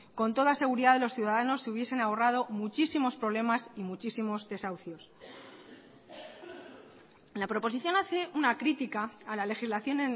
con toda seguridad los ciudadanos se hubiesen ahorrado muchísimos problemas y muchísimos desahucios la proposición hace una crítica a la legislación